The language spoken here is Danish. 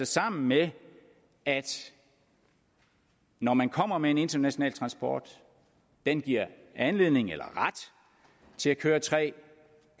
sammen med at når man kommer med en international transport giver den anledning eller ret til at køre tre